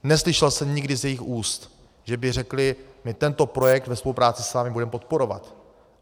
Neslyšel jsem nikdy z jejich úst, že by řekli: my tento projekt ve spolupráci s vámi budeme podporovat.